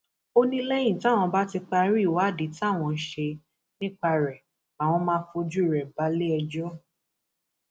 ó ní lẹyìn táwọn bá ti parí ìwádìí táwọn ń ṣe nípa rẹ làwọn máa fojú rẹ balẹẹjọ